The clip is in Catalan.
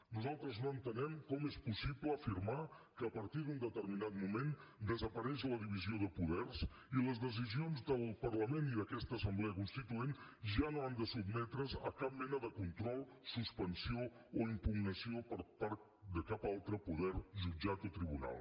nosaltres no entenem com és possible afirmar que a partir d’un determinat moment desapareix la divisió de poders i les decisions del parlament i d’aquesta assemblea constituent ja no han de sotmetre’s a cap mena de control suspensió o impugnació per part de cap altre poder jutjat o tribunal